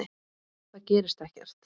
Það gerist ekkert.